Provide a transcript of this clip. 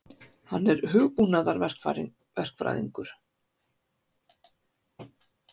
Hann er hugbúnaðarverkfræðingur.